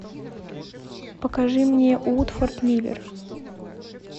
покажи мне уотфорд ливер